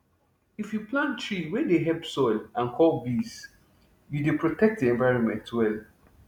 if you plant tree wey dey help soil and call bees you dey protect the environment well